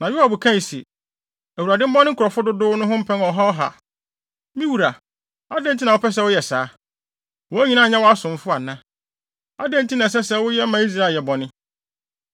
Na Yoab kae se, “ Awurade mmɔ ne nkurɔfo no dodow ho mpɛn ɔha ɔha! Na me wura, adɛn nti na wopɛ sɛ woyɛ saa? Wɔn nyinaa nyɛ wʼasomfo ana? Adɛn nti na ɛsɛ sɛ woyɛ ma Israel yɛ bɔne?”